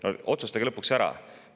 No otsustage lõpuks ära!